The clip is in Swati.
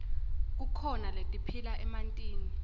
kukhona letiphila emantini